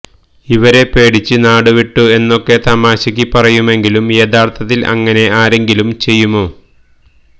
ഇവരെപേടിച്ച് നാടുവിട്ടു എന്നൊക്കെ തമാശക്ക് പറയുമെങ്കിലും യഥാര്ഥത്തില് അങ്ങനെ ആരെങ്കിലും ചെയ്യുമോ